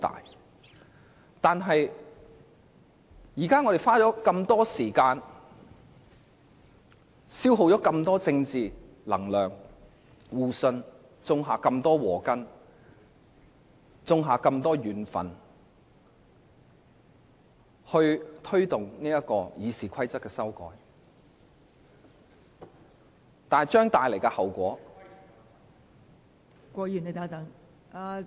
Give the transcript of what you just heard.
我們現在花了這麼多時間，消耗了這麼多政治能量和互信，種下了這麼多禍根和怨憤來推動《議事規則》的修改，後果......